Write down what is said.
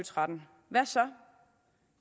tretten hvad så